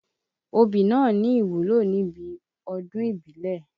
Obì náà ní ìwúlò níbi ọdún ìbílẹ̀.